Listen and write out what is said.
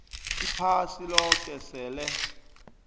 iphasi loke sele